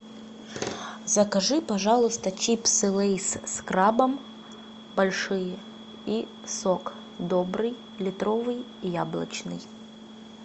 закажи пожалуйста чипсы лейс с крабом большие и сок добрый литровый яблочный